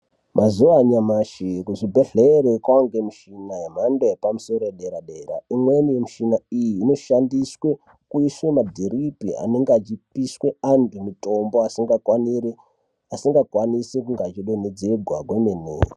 Mazuva anyamashi, kuzvibhedhlera kwaanemishina yemhando yepamusoro, yedera-dera. Imweni yemishina iyi inoshandiswe kuise madhiripi anenge achipiswe antu mitombo asinga kwanise kunge echi donhedzegwa kwemene.